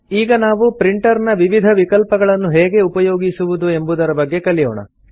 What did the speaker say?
ಈಗ ನಾವು ಪ್ರಿಂಟರ್ ನ ವಿವಿಧ ವಿಕಲ್ಪಗಳನ್ನು ಹೇಗೆ ಉಪಯೋಗಿಸುವುದು ಎಂಬುದರ ಬಗ್ಗೆ ಕಲಿಯೋಣ